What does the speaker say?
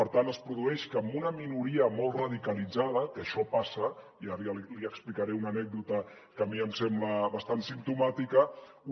per tant es produeix que amb una minoria molt radicalitzada que això passa i ara li explicaré una anècdota que a mi em sembla bastant simptomàtica